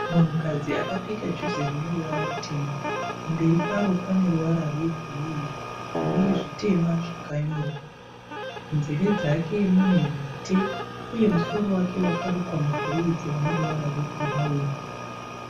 Munhukadzi akapfeka juzi rineruvara rutema. Pamberi paro paneruvara rwegireyi runezvitema zvakanyorwa. Munzeve dzake mune mhete uye musoro wake wakarukwa mabhureidzi aneruvara rwebhurauni.